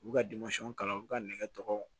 U b'u ka kalan u b'u ka nɛgɛ tɔgɔ